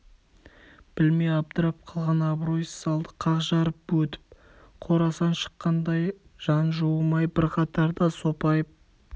білмей абдырап қалған абройсыз залды қақ жарып өтіп қорасан шыққандай жан жуымай бір қатарда сопайып